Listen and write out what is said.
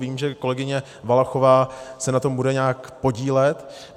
Vím, že kolegyně Valachová se na tom bude nějak podílet.